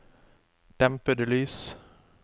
dempede lys